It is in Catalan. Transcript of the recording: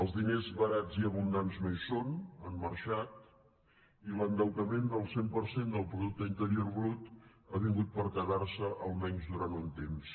els diners barats i abundants no hi són han marxat i l’endeutament del cent per cent del producte interior brut ha vingut per quedar se almenys durant un temps